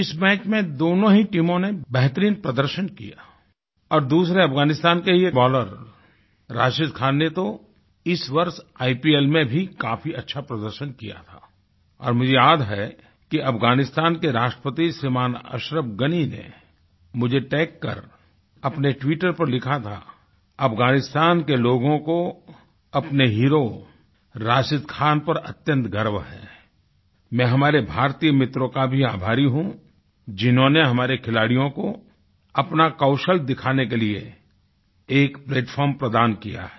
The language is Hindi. इस मैच में दोनों ही टीमों ने बेहतरीन प्रदर्शन किया और दूसरे अफगानिस्तान के ही एक बॉलर राशिद खान ने तो इस वर्ष आईपीएल में भी काफ़ी अच्छा प्रदर्शन किया था और मुझे याद है कि अफगानिस्तान के राष्ट्रपति श्रीमान अशरफ़ गनी ने मुझे टैग कर अपने ट्विटर पर लिखा था अफगानिस्तानके लोगों को अपने हीरो राशिद खान पर अत्यंत गर्व है मैं हमारे भारतीय मित्रों का भी आभारी हूँ जिन्होंने हमारे खिलाड़ियों को अपना कौशल दिखाने के लिए एक प्लैटफार्म प्रदान किया है